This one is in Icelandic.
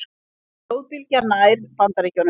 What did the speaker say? Flóðbylgjan nær Bandaríkjunum